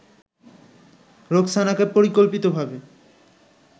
রোকসানাকে পরিকল্পিতভাবে